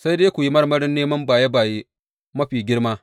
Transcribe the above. Sai dai ku yi marmarin neman baye baye mafi girma.